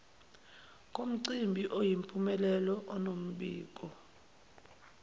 komcimbi oyimpumelelo onombiko